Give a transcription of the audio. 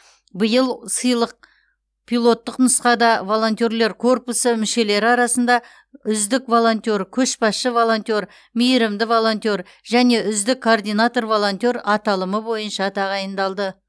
биыл сыйлық пилоттық нұсқада волонтерлер корпусы мүшелері арасында үздік волонтер көшбасшы волонтер мейірімді волонтер және үздік координатор волонтер аталымы бойынша тағайындалды